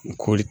Ni kɔɔri